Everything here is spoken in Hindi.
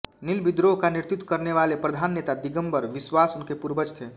नील विद्रोह का नेतृत्व करने वाले प्रधान नेता दिगम्बर बिश्वास उनके पूर्वज थे